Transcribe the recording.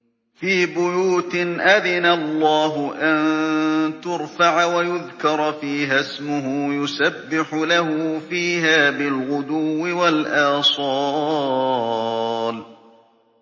فِي بُيُوتٍ أَذِنَ اللَّهُ أَن تُرْفَعَ وَيُذْكَرَ فِيهَا اسْمُهُ يُسَبِّحُ لَهُ فِيهَا بِالْغُدُوِّ وَالْآصَالِ